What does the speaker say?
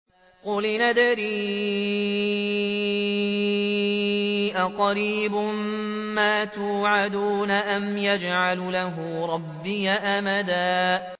قُلْ إِنْ أَدْرِي أَقَرِيبٌ مَّا تُوعَدُونَ أَمْ يَجْعَلُ لَهُ رَبِّي أَمَدًا